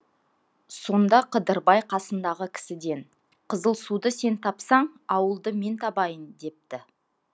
сонда қыдырбай қасындағы кісіден қызылсуды сен тапсаң ауылды мен табайын депті